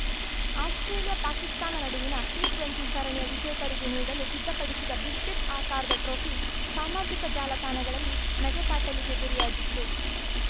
ಆಸ್ಪ್ರೇಲಿಯಾಪಾಕಿಸ್ತಾನ ನಡುವಿನ ಟಿ ಇಪ್ಪತ್ತು ಸರಣಿಯ ವಿಜೇತರಿಗೆ ನೀಡಲು ಸಿದ್ಧಪಡಿಸಿದ್ದ ಬಿಸ್ಕೆಟ್‌ ಆಕಾರದ ಟ್ರೋಫಿ ಸಾಮಾಜಿಕ ತಾಣಗಳಲ್ಲಿ ನಗೆಪಾಟಲಿಗೆ ಗುರಿಯಾಗಿತ್ತು